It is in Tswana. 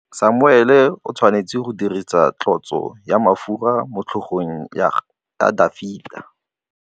Samuele o tshwanetse go dirisa tlotsô ya mafura motlhôgong ya Dafita.